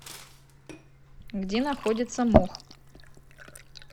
где находится мох